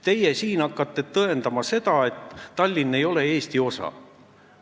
Teie hakkate siin tõendama seda, et Tallinn ei ole Eesti osa.